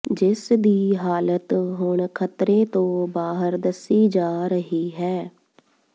ਜਿਸ ਦੀ ਹਾਲਤ ਹੁਣ ਖ਼ਤਰੇ ਤੋਂ ਬਾਹਰ ਦੱਸੀ ਜਾ ਰਹੀ ਹੈ